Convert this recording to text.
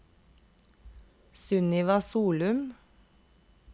Sunniva Solum